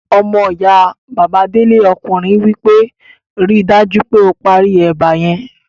Ọmọyá Bàbá Délé ọkùnrin wí pé 'ri dájú pé o parí ẹ̀bà yẹn'